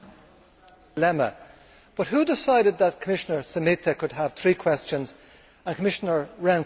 But who decided that Commissioner Šemeta could have three questions and Commissioner Rehn could only have one question?